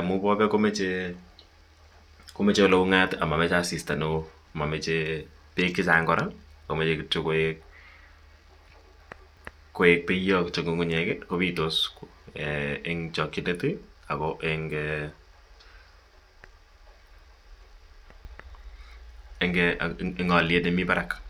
amun bobeek komoche oleung'at amomoche asista neoo momoche beek chechang kora moche kityo koik beyot ng'ung'unyek kobitos eng' chokyinet ak ko eng' oliet nemii barak.